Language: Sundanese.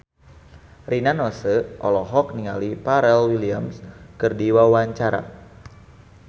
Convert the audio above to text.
Rina Nose olohok ningali Pharrell Williams keur diwawancara